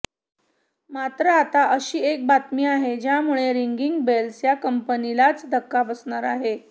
मात्र आता अशी एक बातमी आहे ज्यामुळे रिंगिंग बेल्स या कंपनीलाच धक्का बसणार आहे